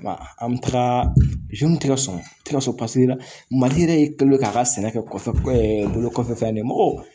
An bɛ taga tɛ ka sɔn tɛ ka sɔn paseke mali yɛrɛ ye k'a ka sɛnɛ kɛ kɔfɛ bolo kɔfɛ fɛn de ye mɔgɔw